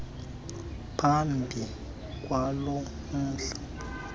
phambi kwalo mhla